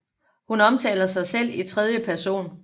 Hun omtaler normalt sig selv i tredje person